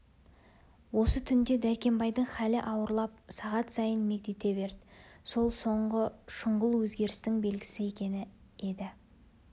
осы түнде дәркембайдың халі ауырлап сағат сайын мегдете берді сол соңғы шұғыл өзгерістің белгісі екен енді